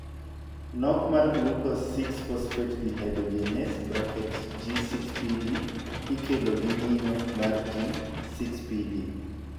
Nok mar glucose 6 phosphate dehydrogenase (G6PD) ikelo gi nyinyo mar G6PD.